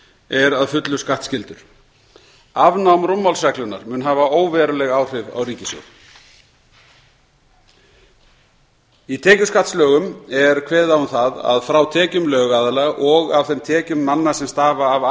er að fullu skattskyldur afnám rúmmálsreglunnar mun hafa óveruleg áhrif á ríkissjóð í tekjuskattslögum er kveðið á um það að frá tekjum lögaðila og af þeim tekjum manna sem stafa af